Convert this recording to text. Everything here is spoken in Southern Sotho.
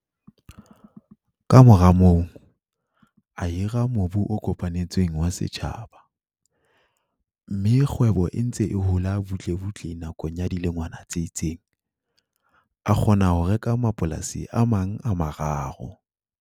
Ka mora moo, a hira mobu o kopanetsweng wa setjhaba, mme ha kgwebo e ntse e hola butlebutle nakong ya dilengwana tse itseng, a kgona ho reka mapolasi a mang a mararo.